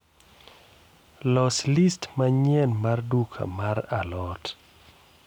los list manyien mar duka mar a lot